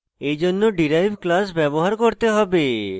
এইজন্য derive class ব্যবহার করতে হবে